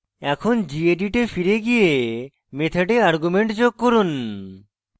এখন gedit এ ফিরে গিয়ে method argument যোগ করুন